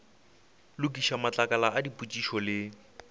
lokiša matlakala a dipotšišo le